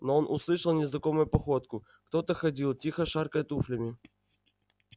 но он услышал незнакомую походку кто-то ходил тихо шаркая туфлями